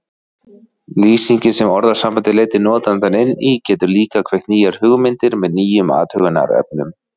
Lýsingin sem orðasambandið leiddi notandann inn í getur líka kveikt nýjar hugmyndir með nýjum athugunarefnum.